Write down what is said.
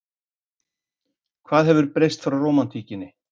Hvað hefur breyst frá rómantíkinni?